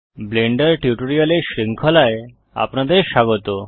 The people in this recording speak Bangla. ব্লেন্ডার টিউটোরিয়ালের শৃঙ্খলায় আপনাদের স্বাগত